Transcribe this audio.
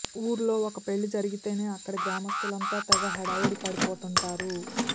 ఊర్లో ఒక పెళ్ళి జరిగితేనే అక్కడి గ్రామస్ధులంతా తెగ హడావుడి పడిపోతుంటారు